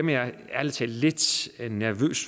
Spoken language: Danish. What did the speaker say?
jeg ærlig talt lidt nervøs